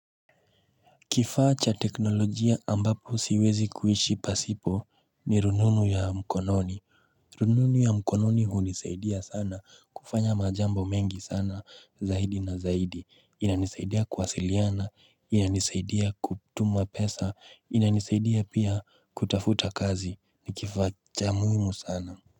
Kifaa cha teknolojia ambapo siwezi kuishi pasipo ni rununu ya mkononi. Rununu ya mkononi hunisaidia sana kufanya majambo mengi sana zaidi na zaidi. Inanisaidia kuwasiliana, inanisaidia kutuma pesa, inanisaidia pia kutafuta kazi, nikifaa cha muhimu sana.